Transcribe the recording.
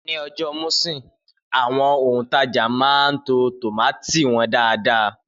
Ni ọjà Muṣin, àwọn òntajà máa ń to tómátì wọn dáadáa